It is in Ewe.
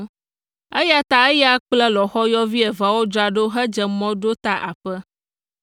Eya ta eya kple lɔ̃xoyɔvi eveawo dzra ɖo hedze mɔ ɖo ta aƒe.